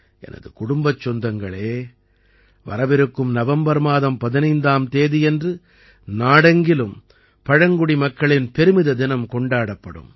எனது குடும்பச் சொந்தங்களே வரவிருக்கும் நவம்பர் மாதம் 15ஆம் தேதின்று நாடெங்கிலும் பழங்குடி மக்களின் பெருமித தினம் கொண்டாடப்படும்